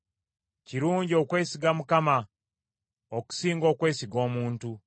Kirungi okwesiga Mukama okusinga okwesiga omuntu.